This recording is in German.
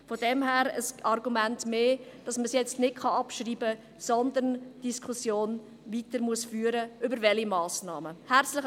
Das also ein Argument mehr dafür, diese Motion nicht abzuschreiben, sondern die Diskussion über die zu ergreifenden Massnahmen weiterzuführen.